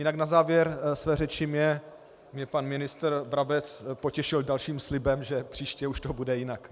Jinak na závěr své řeči mě pan ministr Brabec potěšil dalším slibem, že příště už to bude jinak.